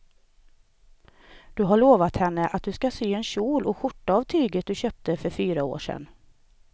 Du har lovat henne att du ska sy en kjol och skjorta av tyget du köpte för fyra år sedan.